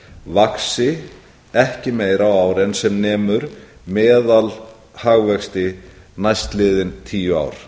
vaxi ekki meira á ári en sem nemur meðalhagvexti næstliðin tíu ár